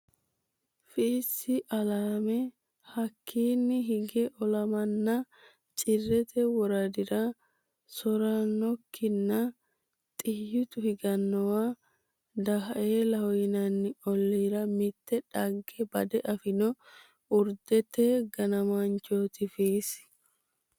Fiissi alaame Hakkiinni hige olamanna Cirrete woradira so rannokkihanna xiyyitu higannowa Daaeelaho yinanni olliira mitte dhagge bade afino urdete ganaanchooti Fiissi.